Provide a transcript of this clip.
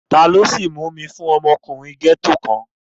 Taló sìí mú fún ọmọkùnrin gẹ́ẹ́tò kan?